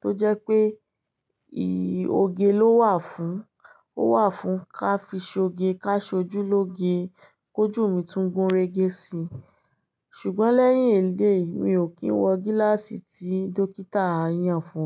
tó jẹ́ pé ih òge ló wà fún, ó wà fún ká fi ṣoge ká ṣojúlóge, kójù mi tún gun rége si. Ṣùgbọ́n lẹ́yìn èléyi, mi ò kí ń wọ gíláàsì tí dókítà yàn fún mi.